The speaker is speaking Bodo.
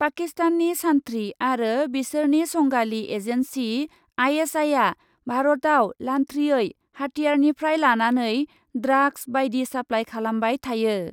पाकिस्ताननि सान्थ्रि आरो बिसोरनि संगालि एजेन्सि आइएसआइआ भारतयाव लान्थ्रियै हाथियारनिफ्राय लानानै ड्राग्स बाइदि साप्लाइ खालामबाय थायो।